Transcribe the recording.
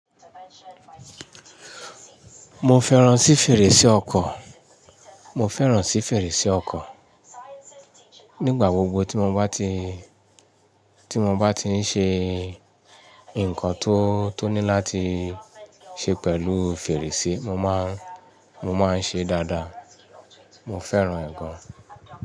Mo fẹ́ràn sí fèrèsé ọkọ́, mo fẹ́ràn sí fèrèsé ọkọ́. Nígbà gbogbo tí mo bá ti, tí mo bá ti ń ṣe nǹkan tó, tó ní láti ṣe pẹ̀lú fèrèsé, mo máa, mo máa ń ṣe dáadáa. Mo fẹ́ràn ẹ̀ gan.